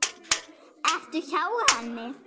Ertu hjá henni?